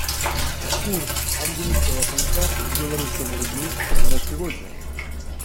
курс английского фунта к белорусскому рублю на сегодня